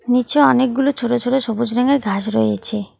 নিচে অনেকগুলো ছোট ছোট সবুজ রঙের ঘাস রয়েছে।